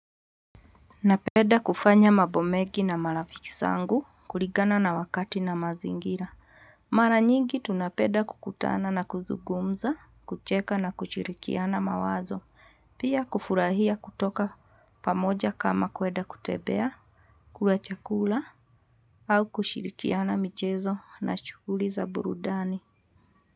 Napeda kufanya mabo megi na marafiki sangu kuligana na wakati na mazingira. Mara nyingi tunapeda kukutana na kuzugumza, kucheka na kuchirikiana mawazo. Pia kufurahia kutoka pamoja kama kweda kutebea, kula chakula au kushirikiana michezo na chughuli za burudani.